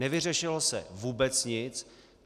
Nevyřešilo se vůbec nic.